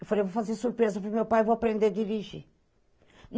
Eu falei, vou fazer surpresa pro meu pai, vou aprender a dirigir.